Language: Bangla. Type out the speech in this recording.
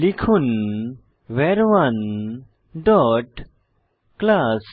লিখুন ভার1 ডট ক্লাস